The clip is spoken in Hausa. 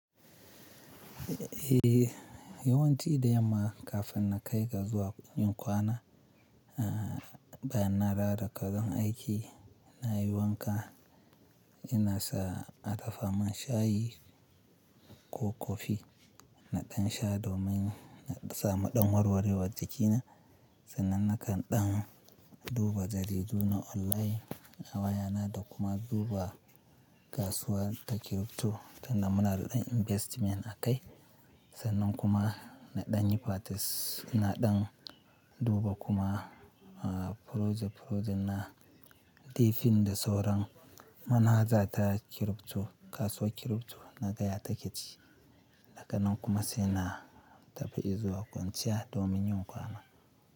Yawan ci da yamma kafin na kai kasuwa yin kwana, bayan na dawo daga wurin aiki na yi wanka, ina sa a dafa man shayi ko kofi naɗan sha domin naɗa samu ɗan warwarewar jikina. Sannan na kan ɗan duba jaridu na online na wayana da kuma duba kasuwar crypto tinda muna da dan investment a kai. Sannan kuma naɗan yi patis naɗan duba kuma project project na, tifin da sauran manhaja ta crypto kasuwar crypto na gaya ta kici. Daka nan kuma sai na tafi in zuwa kwanciya domin yin kwana.